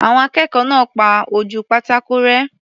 Àwọn akẹ́kọ̀ọ́ náà pa ojú pátákò rẹ́.